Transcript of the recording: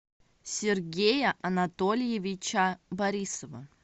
сергея анатольевича борисова